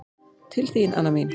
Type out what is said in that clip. Til þín, Anna mín.